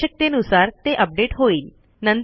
आवश्यकतेनुसार ते अपडेट होईल